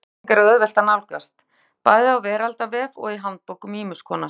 Svona upplýsingar er auðvelt að nálgast, bæði á veraldarvef og í handbókum ýmiss konar.